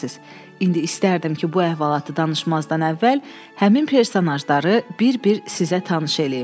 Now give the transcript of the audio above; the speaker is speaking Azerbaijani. İndi istərdim ki, bu əhvalatı danışmazdan əvvəl həmin personajları bir-bir sizə tanış eləyim.